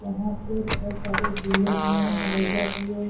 यहाँ पे बोहोत सारे झूले भी हैं। भी है।